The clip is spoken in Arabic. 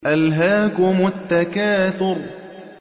أَلْهَاكُمُ التَّكَاثُرُ